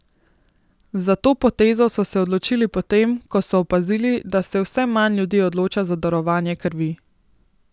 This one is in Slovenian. Za to potezo so se odločili po tem, ko so opazili, da se vse manj ljudi odloča za darovanje krvi.